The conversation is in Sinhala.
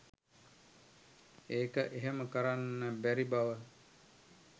ඒක එහෙම කරන්න බැරි බව